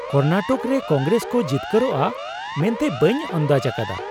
ᱠᱚᱨᱱᱟᱴᱚᱠ ᱨᱮ ᱠᱚᱝᱜᱨᱮᱥ ᱠᱚ ᱡᱤᱛᱠᱟᱹᱨᱚᱜᱼᱟ ᱢᱮᱱᱛᱮ ᱵᱟᱹᱧ ᱟᱱᱫᱟᱡᱽ ᱟᱠᱟᱫᱟ ᱾